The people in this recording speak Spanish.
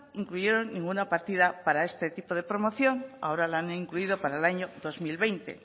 incluyeron ninguna partida para este tipo de promoción ahora la han incluido para el año dos mil veinte